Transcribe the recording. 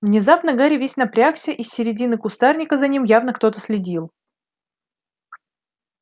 внезапно гарри весь напрягся из середины кустарника за ним явно кто-то следил